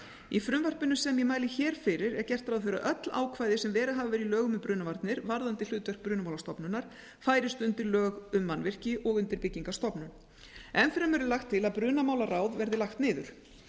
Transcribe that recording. í frumvarpinu sem ég mæli hér fyrir er gert ráð fyrir að öll ákvæði sem verið hafa í lögum um brunavarnir varðandi hlutverk brunamálastofnunar færist undir lög um mannvirki og undir byggingarstofnun enn fremur er lagt til að brunamálaráð verði lagt niður